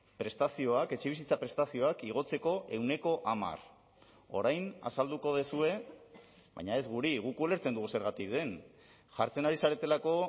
prestazioak etxebizitza prestazioak igotzeko ehuneko hamar orain azalduko duzue baina ez guri guk ulertzen dugu zergatik den jartzen ari zaretelako